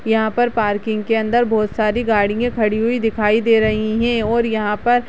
यहाँ पर पार्किंग के अंदर बहोत सारी गाड़ियाँ खड़ी हुई दिखाई दे रही हैं और यहाँ पर --